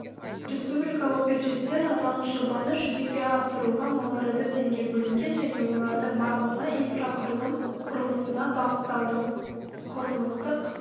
республикалық бюджеттен аталмыш жобаны жүзеге асыруға миллиард теңге бөлінген және олардың барлығы инфрақұрылым құрылысына бағытталды құрлықтық